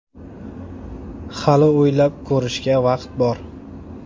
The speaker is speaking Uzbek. Hali o‘ylab ko‘rishga vaqt bor”.